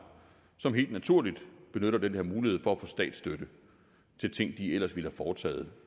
som helt naturligt benytter den her mulighed for at få statsstøtte til ting de ellers ville have foretaget